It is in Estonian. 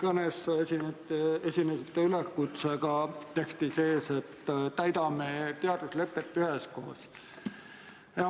Oma kõnes te esinesite üleskutsega, et täidame teaduslepet üheskoos.